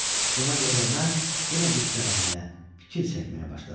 Buna görə də mən yenə qüssələnməyə, fikir çəkməyə başladım.